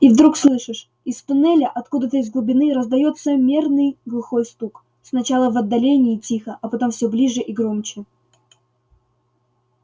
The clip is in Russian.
и вдруг слышишь из туннеля откуда-то из глубины раздаётся мерный глухой стук сначала в отдалении тихо а потом всё ближе и громче